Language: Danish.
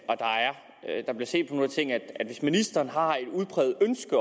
tingene at det hvis ministeren har et udpræget ønske